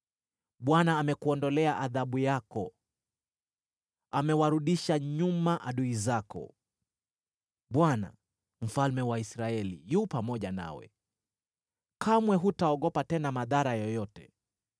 Bwana amekuondolea adhabu yako, amewarudisha nyuma adui zako. Bwana , Mfalme wa Israeli, yu pamoja nawe; kamwe hutaogopa tena madhara yoyote.